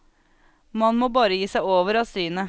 Man må bare gi seg over av synet.